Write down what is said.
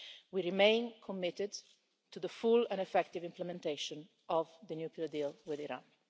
We remain committed to the full and effective implementation of the nuclear deal with Iran.